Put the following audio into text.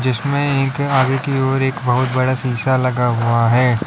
जिसमें एक आगे की ओर एक बहुत बड़ा शीशा लगा हुआ है।